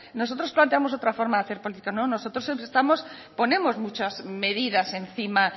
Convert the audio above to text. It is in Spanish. nosotros planteamos otra forma de hacer política no nosotros ponemos muchas medidas encima